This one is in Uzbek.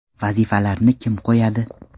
Vazifalarni kim qo‘yadi?